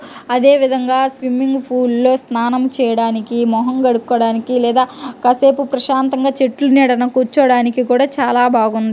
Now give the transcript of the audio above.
అదేవిధంగా swimming pool లో స్నానం చేయడానికి మొహం కడుక్కోవడానికి లేదా కాసేపు ప్రశాంతంగా చెట్ల నీడన కూర్చోడానికి కూడా చాలా బాగుంది.